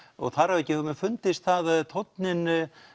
þar að auki hefur mér fundist það tónninn